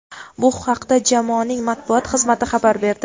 Bu haqda jamoaning matbuot xizmati xabar berdi.